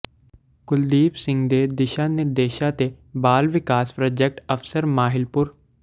ਕੁਲਦੀਪ ਸਿੰਘ ਦੇ ਦਿਸ਼ਾਂ ਨਿਰਦੇਸ਼ਾਂ ਤੇ ਬਾਲ ਵਿਕਾਸ ਪ੍ਰਾਜੈਕਟ ਅਫਸਰ ਮਾਹਿਲਪੁਰ ਗੁ